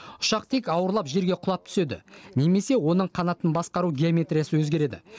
ұшақ тек ауырлап жерге құлап түседі немесе оның қанатын басқару геометриясы өзгереді